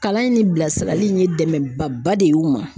Kalan in ni bilasirali in ye dɛmɛ ba ba de ye u ma.